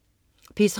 P3: